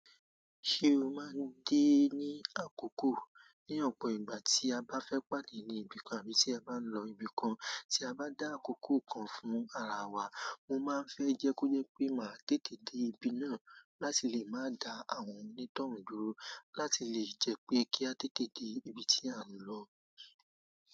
Ṣé o máa ń dé ní àkókò? Ní ọ̀pọ̀ ìgbà tí a bá fẹ́ pàdé ní ibi kan àbí tí a bá ń lọ ibi kan, tí a bá dá àkókò kan fún ara wa, mo máa ń fẹ́ jẹ́ kó yẹ pé màá tètè dé ibi náà láti lè má da àwọn onítọ̀hún dúró láti lè jẹ́ pé kí a tètè dé ibi tí a ń lọ.